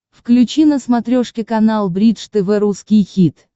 включи на смотрешке канал бридж тв русский хит